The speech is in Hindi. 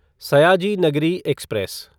सयाजी नगरी एक्सप्रेस